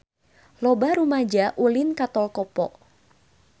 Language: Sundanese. Loba rumaja ulin ka Tol Kopo